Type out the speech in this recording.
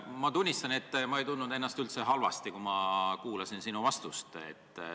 Ma tunnistan, et ma ei tundnud ennast üldse halvasti, kui ma kuulasin sinu vastust.